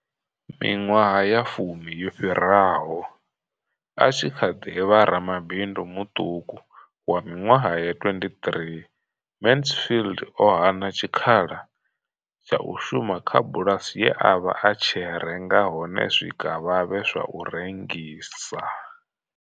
Miṅwaha ya fumi yo fhiraho, a tshi kha ḓi vha ramabindu muṱuku wa miṅwaha ya 23, Mansfield o hana tshikhala tsha u shuma kha bulasi ye a vha a tshi renga hone zwikavhavhe zwa u rengisa.